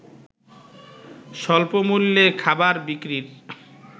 স্বল্পমূল্যে খাবার বিক্রির